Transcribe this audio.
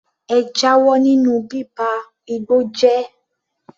Ẹ jáwọ́ nínú bíba igbó jẹ́!